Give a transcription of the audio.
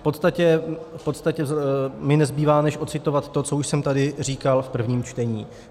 V podstatě mi nezbývá než odcitovat to, co už jsem tady říkal v prvním čtení.